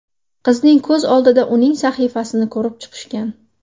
Qizning ko‘z oldida uning sahifasini ko‘rib chiqishgan.